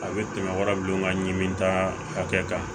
A bɛ tɛmɛ wara don nka ɲimi ta hakɛ kan